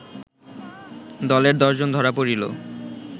দলের দশজন ধরা পড়িল